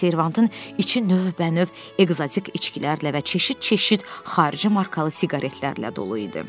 Servantın içi növbənöv ekzotik içkilərlə və çeşid-çeşid xarici markalı siqaretlərlə dolu idi.